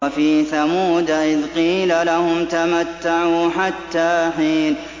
وَفِي ثَمُودَ إِذْ قِيلَ لَهُمْ تَمَتَّعُوا حَتَّىٰ حِينٍ